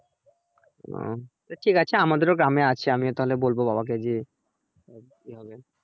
ও তো ঠিক আছে আমাদেরও গ্রামে আছে আমিও তাহলে বলবো বাবাকে যে